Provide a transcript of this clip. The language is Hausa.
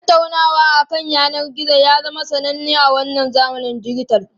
Tattaunawa akan yanar gizo ya zama sananne a wannan zamanin dijital.